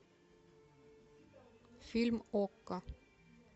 фильм окко